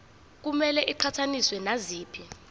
kumele iqhathaniswe naziphi